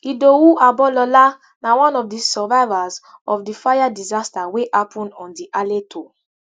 idowu obalola na one of di survivors of di fire disaster wey happen on di aleto